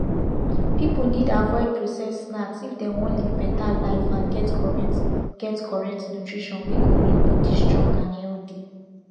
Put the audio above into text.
pipiu need avoid processed snacks if dem wan live better life and get correct get correct nutrition wey go make body strong and healthy